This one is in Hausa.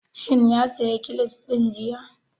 Shin ya saya kilifs ɗin jiya?